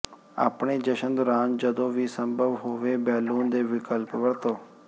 ਆਪਣੇ ਜਸ਼ਨ ਦੌਰਾਨ ਜਦੋਂ ਵੀ ਸੰਭਵ ਹੋਵੇ ਬੈਲੂਨ ਦੇ ਵਿਕਲਪ ਵਰਤੋ